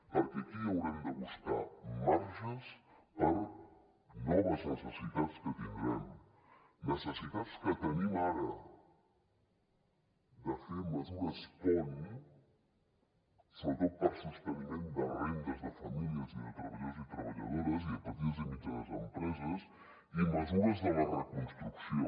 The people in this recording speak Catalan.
perquè aquí haurem de buscar marges per a noves necessitats que tindrem necessitats que tenim ara de fer mesures pont sobretot per a sosteniment de rendes de famílies i de treballadors i treballadores i de petites i mitjanes empreses i mesures de la reconstrucció